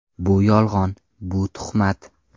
Bu yolg‘on, bu tuhmat.